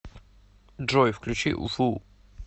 джой включи вуу